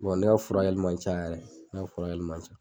[ne ka furakɛli ma can yɛrɛ ne ka furakɛli ma can.